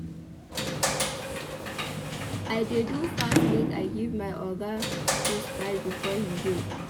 I dey do fast make I give my Oga dis file before he go.